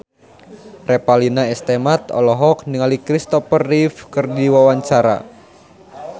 Revalina S. Temat olohok ningali Kristopher Reeve keur diwawancara